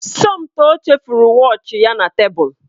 Somtoo chefuru wọọchi ya na tebụl